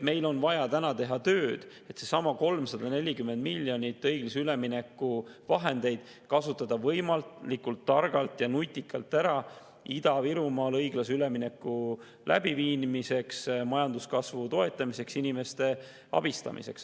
Meil on vaja teha tööd, et kasutada 340 miljonit õiglase ülemineku vahendeid võimalikult targalt ja nutikalt ära Ida-Virumaal õiglase ülemineku läbiviimiseks, majanduskasvu toetamiseks ja inimeste abistamiseks.